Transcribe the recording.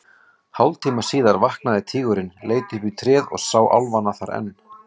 Hálftíma síðar vaknaði tígurinn, leit upp í tréð og sá álfana þar enn.